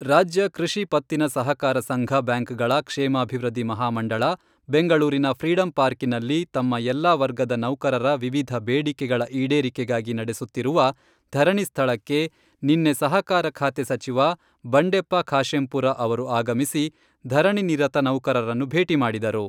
ರಾಜ್ಯ ಕೃಷಿ ಪತ್ತಿನ ಸಹಕಾರ ಸಂಘ ಬ್ಯಾಂಕ್ಗಳ ಕ್ಷೇಮಾಭಿವೃದ್ಧಿ ಮಹಾಮಂಡಳ, ಬೆಂಗಳೂರಿನ ಫ್ರೀಡಂ ಪಾರ್ಕಿನಲ್ಲಿ ತಮ್ಮ ಎಲ್ಲಾ ವರ್ಗದ ನೌಕರರ ವಿವಿಧ ಬೇಡಿಕೆಗಳ ಈಡೇರಿಕೆಗಾಗಿ ನಡೆಸುತ್ತಿರುವ ಧರಣಿ ಸ್ಥಳಕ್ಕೆ ನಿನ್ನೆ ಸಹಕಾರ ಖಾತೆ ಸಚಿವ ಬಂಡೆಪ್ಪ ಖಾಶೆಂಪುರ ಅವರು ಆಗಮಿಸಿ ಧರಣಿ ನಿರತ ನೌಕರರನ್ನು ಭೇಟಿ ಮಾಡಿದರು.